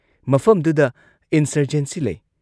ꯃꯐꯝꯗꯨꯗ ꯏꯟꯁꯔꯖꯦꯟꯁꯤ ꯂꯩ ꯫